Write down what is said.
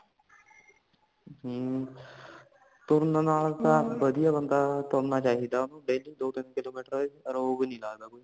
ਹੁਣ ਤੁਰਨ ਨਾਲ ਤਾ ਵਧੀਆ ਬੰਦਾ ਤੁਰਨਾ ਚਾਹੀਦਾ daily ਦੋ - ਤਿਨ kilometer ਰੋਗ ਨਹੀਂ ਲੱਗਦਾ ਕੋਈ